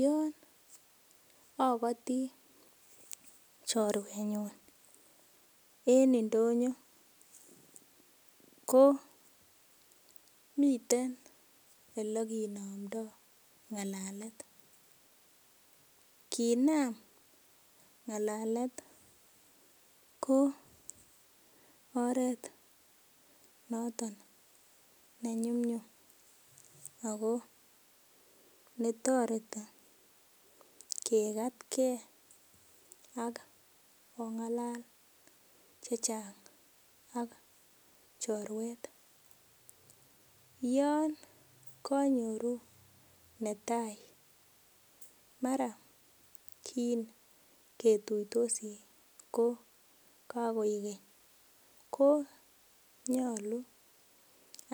Yon okoti choruenyun en indonyo ko miten olekinomdo ngalalet kinam ngalalet ko oret noton nenyumnyum ako netoreti kikatkee ak ongalal chechang ak choruet , yon konyoru netai maran kingetuitosi ko kokoiken konyolu